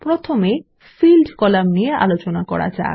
প্রথমে field column নিয়ে আলোচনা করা যাক